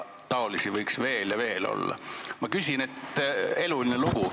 Taolisi näiteid võiks veel ja veel tuua – eluline lugu.